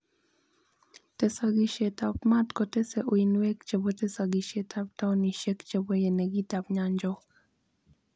Tesogisiet ab maat gotese uinweek chebo tesogisiet ab taonisieek chebo yenegiit ab nyanchog.